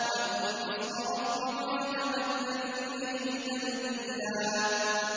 وَاذْكُرِ اسْمَ رَبِّكَ وَتَبَتَّلْ إِلَيْهِ تَبْتِيلًا